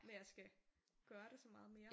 Med at skal gøre det så meget mere